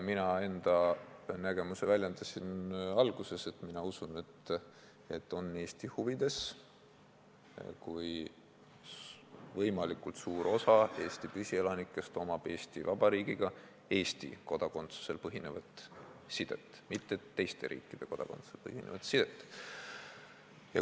Mina väljendasid enda seisukohta juba alguses: ma usun, et on Eesti huvides, kui võimalikult suur osa Eesti püsielanikest omab Eesti Vabariigiga Eesti kodakondsusel põhinevat sidet, mitte teiste riikide kodakondsusel põhinevat sidet.